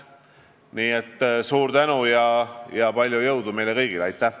Nii et suur tänu ja palju jõudu meile kõigile!